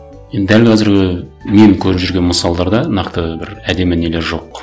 енді дәл қазіргі мен көріп жүрген мысалдарда нақты бір әдемі нелер жоқ